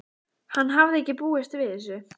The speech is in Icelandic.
Hann hafði ekki búist við þessu.